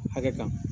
Hakɛ kan